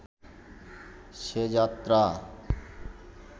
সে যাত্রা